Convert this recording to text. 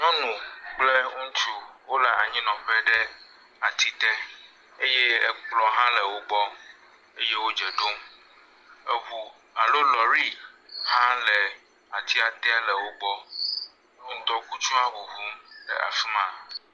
Nyɔnu kple ŋutsu wole anyinɔƒe ɖe atite eye ekplɔ̃ hã le wogbɔ eye wo dze ɖom. Eŋu alo lɔri hã le atia te le wogbɔ. Ŋdɔkutsu hã ŋuŋum le afi ma.